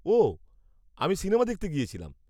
-ওহ, আমি সিনেমা দেখতে গিয়েছিলাম।